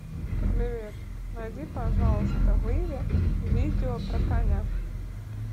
привет найди пожалуйста в иви видео про коня